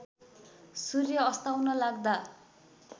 सूर्य अस्ताउन लाग्दा